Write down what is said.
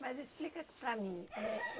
Mas explica para mim éh.